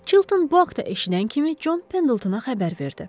Çilton bu haqda eşidən kimi Con Pendaltona xəbər verdi.